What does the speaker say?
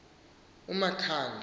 umakhanda